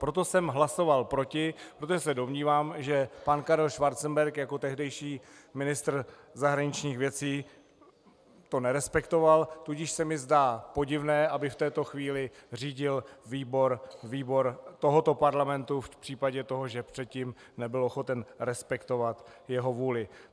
Proto jsem hlasoval proti, protože se domnívám, že pan Karel Schwarzenberg jako tehdejší ministr zahraničních věcí to nerespektoval, tudíž se mi zdá podivné, aby v této chvíli řídil výbor tohoto parlamentu v případě toho, že předtím nebyl ochoten respektovat jeho vůli.